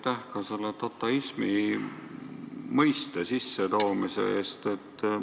Ja aitäh ka selle dataismi mõiste tutvustamise eest!